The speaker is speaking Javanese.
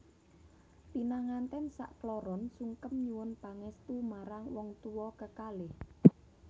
Pinangantèn sak kloron sungkem nyuwun pangèstu marang wong tuwa kekalih